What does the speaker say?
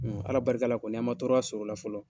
Ala barika la kɔni, an ma tɔrɔya sɔrɔ o la fɔlɔ